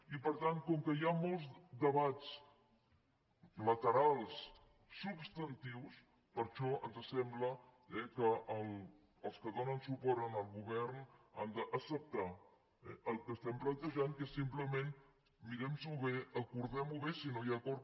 i per tant com que hi ha molts debats laterals substantius per això ens sembla que els que donen suport al govern han d’acceptar el que estem plantejant que és simplement mirem nos ho bé acordem ho bé si no hi ha acord